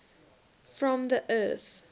from the earth